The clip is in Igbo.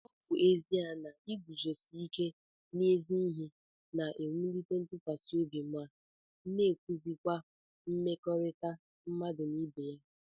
Ọ bụ ezie na iguzosi ike n'ezi ihe na-ewulite ntụkwasị obi má n'ewusikwa mmekọrịta mmadụ na ibeya ìkè